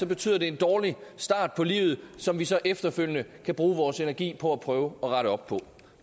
betyder det en dårlig start på livet som vi så efterfølgende kan bruge vores energi på at prøve at rette op på